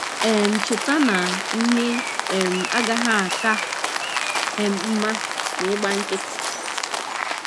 um Cheta na ihe um agaghị aka um mma ma ị gba nkịtị.